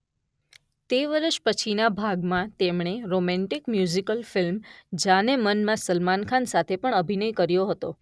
તે વર્ષના પછીના ભાગમાં તેમણે રોમેન્ટિક મ્યુઝિકલ ફિલ્મ જાન-એ-મન માં સલમાન ખાન સાથે પણ અભિનય કર્યો હતો.